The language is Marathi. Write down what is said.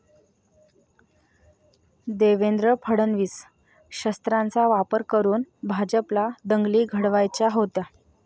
देवेंद्र फडणवीस...शस्त्रांचा वापर करून भाजपला दंगली घडवायच्या होत्या?'